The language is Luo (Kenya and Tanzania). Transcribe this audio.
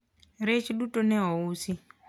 rech duto ne ousi